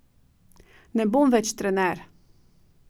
Ne bom več trener.